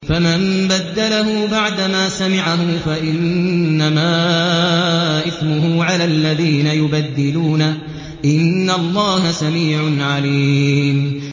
فَمَن بَدَّلَهُ بَعْدَمَا سَمِعَهُ فَإِنَّمَا إِثْمُهُ عَلَى الَّذِينَ يُبَدِّلُونَهُ ۚ إِنَّ اللَّهَ سَمِيعٌ عَلِيمٌ